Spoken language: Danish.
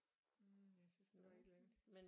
Hm jeg synes der var et eller andet